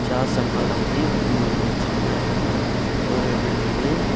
ஜாஸ் அகாடமின்னு சின்ன ஒரு பில்டிங்கு .